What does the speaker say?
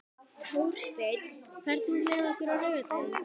Þórsteinn, ferð þú með okkur á laugardaginn?